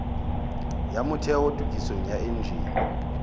ya motheo tokisong ya enjene